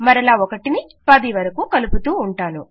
మరలా 1 ని 10 వరకూ కలుపుతూ ఉంటాను